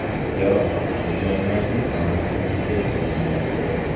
Jarohat olganlarning aniq soni keltirilmayapti.